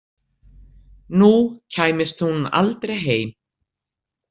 Nú kæmist hún aldrei heim.